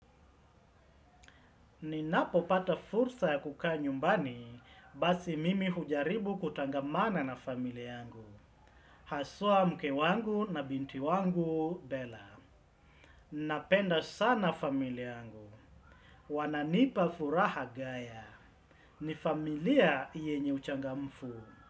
Ninapopata fursa ya kukaa nyumbani, basi mimi hujaribu kutangamana na familia yangu. Haswa mke wangu na binti wangu, Bella. Napenda sana familia angu. Wananipa furaha ni familia yenye uchangamfu.